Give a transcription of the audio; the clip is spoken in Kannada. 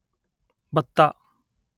ಬತ್ತ